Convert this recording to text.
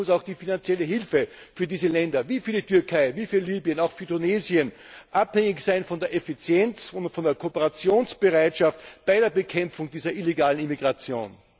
Letztlich muss auch die finanzielle Hilfe für diese Länder wie für die Türkei, wie für Libyen, auch für Tunesien abhängig sein von der Effizienz und von der Kooperationsbereitschaft bei der Bekämpfung dieser illegalen Immigration.